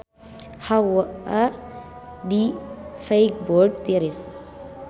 Hawa di Feiburg tiris